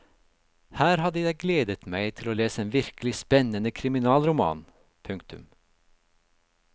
Her hadde jeg gledet meg til å lese en virkelig spennende kriminalroman. punktum